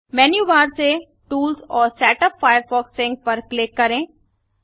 menu bar से tools और setup Firefox sync पर क्लिक करें